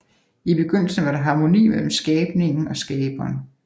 I begyndelsen var der harmoni mellem skabningen og Skaberen